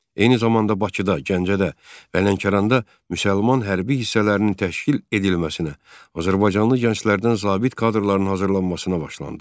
Eyni zamanda Bakıda, Gəncədə və Lənkəranda müsəlman hərbi hissələrinin təşkil edilməsinə, azərbaycanlı gənclərdən zabit kadrların hazırlanmasına başlandı.